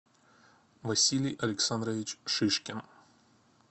василий александрович шишкин